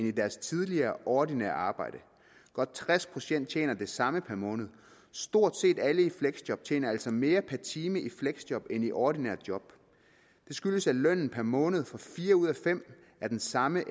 i deres tidligere ordinære arbejde godt tres procent tjener det samme per måned stort set alle i fleksjob tjener altså mere per time i fleksjob end i et ordinært job det skyldes at lønnen per måned for fire ud af fem er den samme